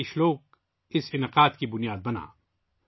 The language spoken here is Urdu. یہی اشلوک اس تقریب کا بنیاد بنا